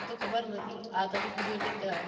મન તો ખબર નહોતી આ તમે કીધું એટલે